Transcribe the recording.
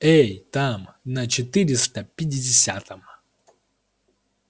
эй там на четыреста пятидесятом